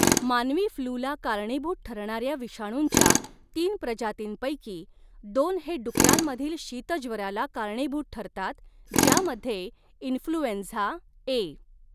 मानवी फ्लूला कारणीभूत ठरणाऱ्या विषाणूंच्या तीन प्रजातींपैकी दोन हे डुकरांमधील शीतज्वराला कारणीभूत ठरतात, ज्यामध्ये इन्फ्लूएंझा ए.